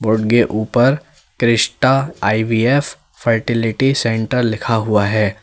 उनके ऊपर Krishna I V F fertility centre लिखा हुआ है।